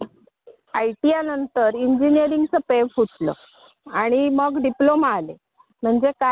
मग असे काय झाले की नंतर नोकरी मिळेना.